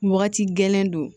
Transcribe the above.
Wagati gɛlɛn don